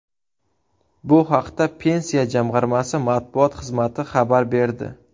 Bu haqda Pensiya jamg‘armasi matbuot xizmati xabar berdi .